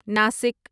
Nashik